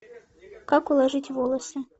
как уложить волосы